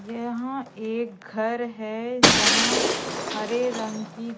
यहां एक घर है जहां हरे रंग की--